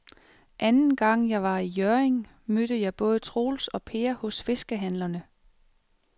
Anden gang jeg var i Hjørring, mødte jeg både Troels og Per hos fiskehandlerne.